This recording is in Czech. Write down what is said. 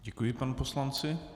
Děkuji panu poslanci.